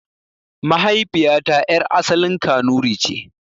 Mahaifiyata yar' asalin kanuri ce.